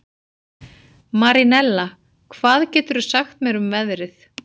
Marinella, hvað geturðu sagt mér um veðrið?